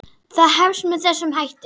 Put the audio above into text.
Það hefst með þessum hætti